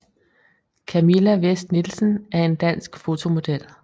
Camilla Vest Nielsen er en dansk fotomodel